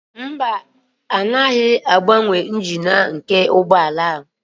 Mba, agaghị m agbanwe engine nke ụgbọ ala a